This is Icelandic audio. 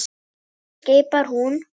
skipar hún.